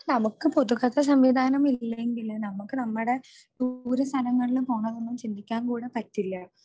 നമുക്ക് പൊതുഗതാഗത സംവിധാനം ഇല്ലെങ്കിൽ നമുക്ക് നമ്മുടെ ദൂര സ്ഥലങ്ങളിൽ പോകാൻ ഒന്നും ചിന്തിക്കാൻ കൂടെ പറ്റില്ല